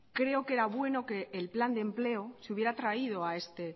creo que era bueno que el plan de empleo se hubiera traído